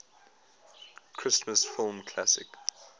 christmas film classic